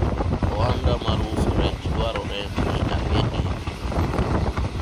ohanda mar uso rech dwarore ni abedie kinde duto